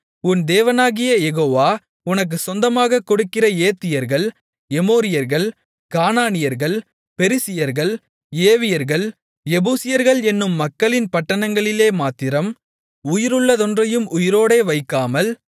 உன் தேவனாகிய யெகோவா உனக்குச் சொந்தமாகக் கொடுக்கிற ஏத்தியர்கள் எமோரியர்கள் கானானியர்கள் பெரிசியர்கள் ஏவியர்கள் எபூசியர்கள் என்னும் மக்களின் பட்டணங்களிலேமாத்திரம் உயிருள்ளதொன்றையும் உயிரோடே வைக்காமல்